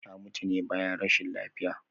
Ta mutu ne bayan rashin lafiya